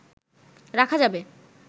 রাখা যাবে